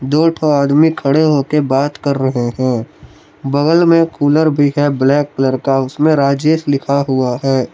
दो ठो आदमी खड़े हो के बात कर रहे हैं बगल में कूलर भी है ब्लैक कलर का उसमें राजेश लिखा हुआ है।